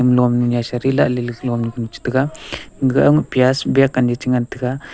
non shadi lahle le glonu cha taga gaga ama pias biak anyi changan taga.